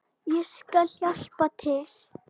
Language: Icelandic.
Ég skal hjálpa til.